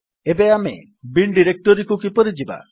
ଏବେ ଆମେ ବିନ୍ ଡିରେକ୍ଟୋରୀକୁ କିପରି ଯିବା